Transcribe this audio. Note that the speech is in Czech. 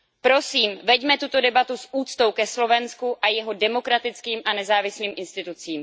Prosím veďme tuto debatu s úctou ke Slovensku a jeho demokratickým a nezávislým institucím.